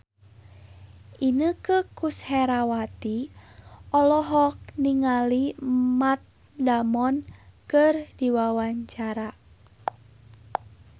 Inneke Koesherawati olohok ningali Matt Damon keur diwawancara